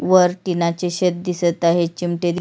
वर टीनाचे शेड दिसत आहे चिमटे दिस--